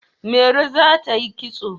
Mairo za ta yi kitso.